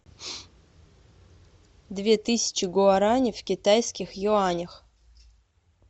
две тысячи гуарани в китайских юанях